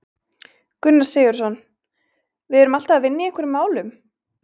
Gunnar Sigurðsson: Við erum alltaf að vinna í einhverjum málum?